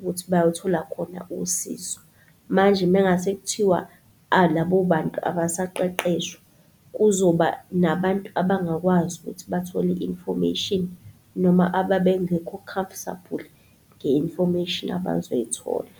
ukuthi bayothola khona usizo. Manje mengase kuthiwa, labobantu abasaqeqeshwa, kuzoba nabantu abangakwazi ukuthi bathole i-information, noma ababengekho comfortable nge-information abazoyithola.